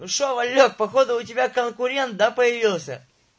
ну что валёк походу у тебя конкурент да появился